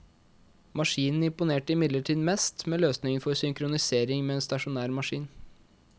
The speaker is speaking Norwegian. Maskinen imponerte imidlertid mest med løsningen for synkronisering med en stasjonær maskin.